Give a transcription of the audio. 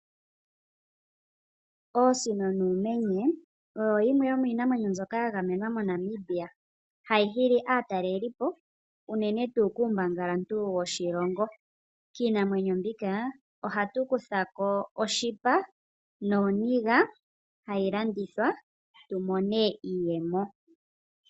Oosino noomenye oyo yimwe mbyoka yagamenwa mo Namibia. Hayi hili aatalelipo unene tuu kuumbangalantu woshilongo. Kiinamwenyo mboka ohayi kuthako oshipa nooniga hayi landithwa tumone iiyemo.